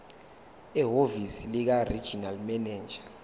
ehhovisi likaregional manager